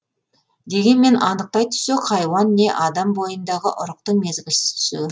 дегенмен аныктай түссек хайуан не адам бойындағы ұрықтың мезгілсіз түсуі